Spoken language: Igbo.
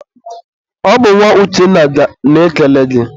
ọ bụ nwa Uchenna na-ekele gị.